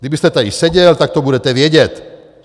Kdybyste tady seděl, tak to budete vědět.